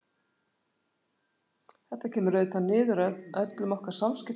Þetta kemur auðvitað niður á öllum okkar samskiptum.